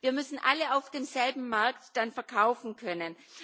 Wir müssen alle auf demselben Markt dann verkaufen können.